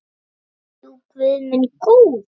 Jú, guð minn góður.